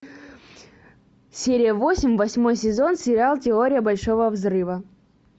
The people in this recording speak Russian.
серия восемь восьмой сезон сериал теория большого взрыва